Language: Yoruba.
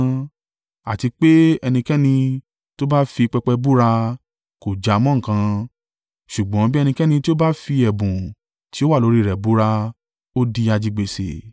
Àti pé, ẹnikẹ́ni tó bá fi pẹpẹ búra, kò jámọ́ nǹkan, ṣùgbọ́n bí ẹnikẹ́ni tí ó ba fi ẹ̀bùn tí ó wà lórí rẹ̀ búra, ó di ajigbèsè.